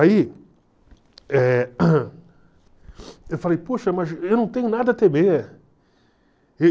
Aí, eh eu falei, poxa, mas eu não tenho nada a temer.